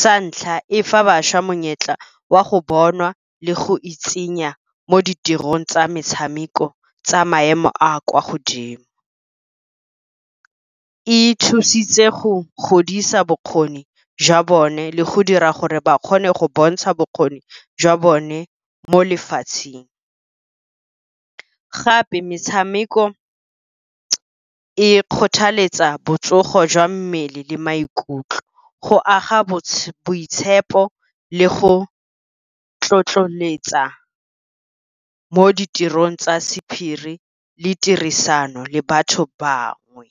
Sa ntlha, e fa bašwa monyetla wa go bonwa le go itsenya mo ditirong tsa metshameko tsa maemo a kwa godimo. E thusitse go godisa bokgoni jwa bone le go dira gore ba kgone go bontsha bokgoni jwa bone mo lefatsheng. Gape metshameko e kgothaletsa botsogo jwa mmele le maikutlo, go aga boitshepo le go tlotloletsa mo ditirong tsa sephiri le tirisano le batho bangwe.